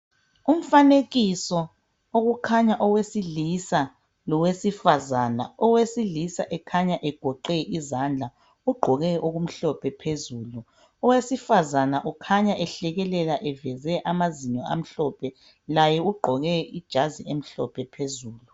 Umfanekiso okukhanya owesilisa lowesifazana. Owesilisa ekhanya egoqe izandla. Ugqoke okumhlophe phezulu. Owesifazana ukhanya ehlekelela eveze amazinyo amhlophe. Laye ugqoke ijazi emhlophe phezulu.